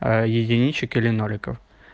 а единичек или ноликов